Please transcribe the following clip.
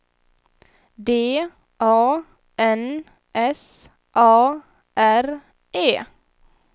D A N S A R E